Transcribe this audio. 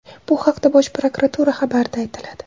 Bu haqda Bosh prokuratura xabarida aytiladi .